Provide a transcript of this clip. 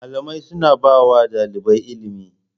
Malamai suna ba wa ɗalibai ilimi.